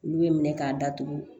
Olu bɛ minɛ k'a datugu